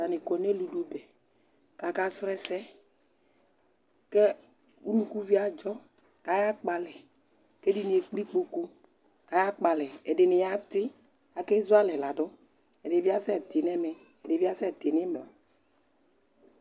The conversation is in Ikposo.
Atanɩ kɔ nʋ eludʋbɛ kʋ akasrɔ ɛsɛ kʋ unukuvio adzɔ kʋ ayakpɔ alɛ kʋ ɛdɩnɩ ekple ikpoku kʋ ayakpɔ alɛ Ɛdɩnɩ yatɩ Akezu alɛ ladʋ Ɛdɩ bɩ asɛtɩ nʋ ɛmɛ, ɛdɩ bɩ asɛtɩ nʋ ɩmla